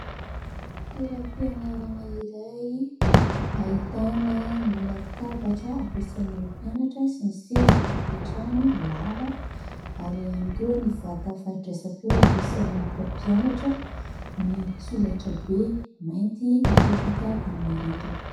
Toeram-pianarana iray ahitana ny latabatra ampiasain'ireo mpianatra sy ny seza hipetrahany lava, ary ihany koa ny vata fandraisam-peo ampiasain'ny mpampianatra, ny solaitrabe mainty mipetaka amin'ny rindrina.